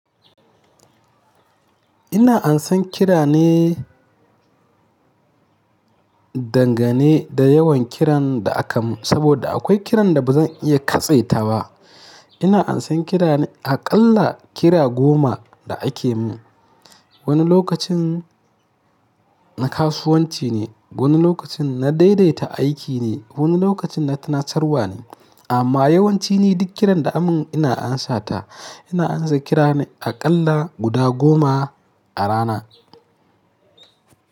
Ina ansan kira ne dangane da yawan kiran da aka mun saboda akwai kiran da ba zan iya katse ta ba. Ina ansan kira ne aƙalla kira goma da ake mun. Wani lokacin na kasuwanci ne, wani lokacin na daidaita aiki ne, wani lokacin na tunatarwa ne. Amma yawanci ni duk kiran da aka mun ina ansata. Ina ansa kira ne aƙalla guda goma a rana.